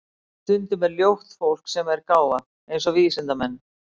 Stundum er ljótt fólk sem er gáfað, eins og vísindamenn.